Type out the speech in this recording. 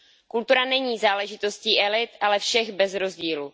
Kultura není záležitostí elit, ale všech bez rozdílu.